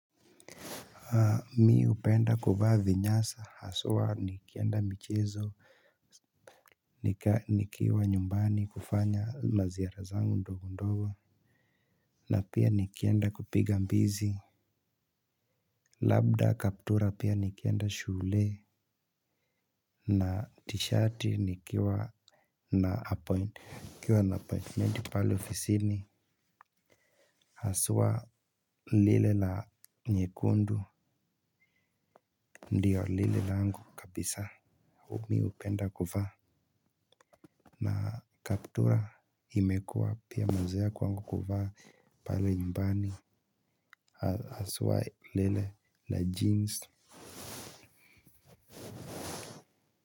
Mimi upenda kuvaa vinyasa hasuwa nikienda michizo nikiwa nyumbani kufanya maziara zangu ndogo ndogo. Na pia nikienda kupiga mbizi. Labda kaptura pia nikienda shule na tishati nikiwa na apointimenti pale ofisini. Hasuwa lile la nyekundu ndio lile langu kabisa huku mimi upenda kufa. Na kaptura imekua pia mazoea kwangu kuvaa pale nyumbani hasuwa lile la jeans.